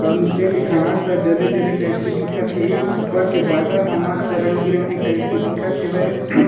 अउ नीचे के घाँस ह जले-जले टाइप के दिखत हे ऊपर के बादल ह मस्त रंग-बिरंगी टाइप के दिखत हेवय।